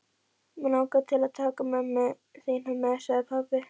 Mig langar til að taka mömmu þína með sagði pabbi.